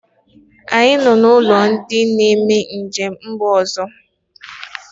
Anyị nọ na ọnụ ụlọ ndị na-eme njem n'mba ọzọ